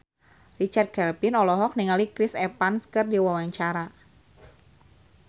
Richard Kevin olohok ningali Chris Evans keur diwawancara